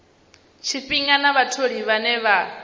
tshifhinga na vhatholi vhane vha